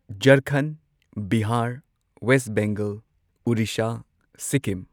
Jharkhand Bihar West Bengal Orissa Sikkim